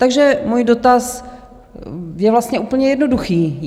Takže můj dotaz je vlastně úplně jednoduchý: